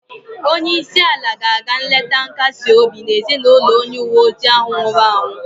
Onye isi ala ga-aga nleta nkasi obi na ezinụlọ onye uwe ojii ahụ nwụrụ anwụ